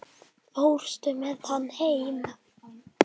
Fórstu með hana heim?